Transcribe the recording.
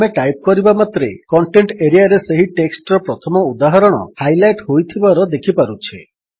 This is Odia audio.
ଆମେ ଟାଇପ୍ କରିବା ମାତ୍ରେ କଣ୍ଟେଣ୍ଟ୍ ଏରିଆରେ ସେହି ଟେକ୍ସଟ୍ ର ପ୍ରଥମ ଉଦାହରଣ ହାଇଲାଇଟ୍ ହୋଇଥିବାର ଦେଖିପାରୁଛେ